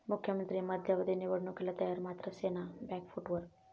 मुख्यमंत्री मध्यावधी निवडणुकीला तयार, मात्र सेना बॅकफुटवर